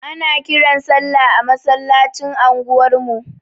Ana kiran sallah a masallacin anguwar mu.